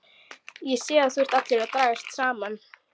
Ég sé að þú ert allur að dragast saman.